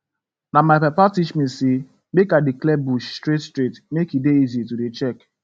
na my papa teach me say make i dey clear bush straight straight make e dey easy to dey check